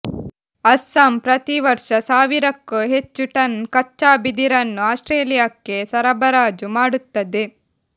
ಅಸ್ಸಾಂ ಪ್ರತಿವರ್ಷ ಸಾವಿರಕ್ಕೂ ಹೆಚ್ಚು ಟನ್ ಕಚ್ಚಾ ಬಿದಿರನ್ನು ಆಸ್ಟ್ರೇಲಿಯಾಕ್ಕೆ ಸರಬರಾಜು ಮಾಡುತ್ತದೆ